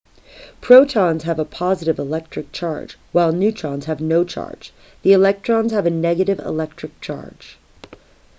protons have a positive electric charge while neutrons have no charge the electrons have a negative electric charge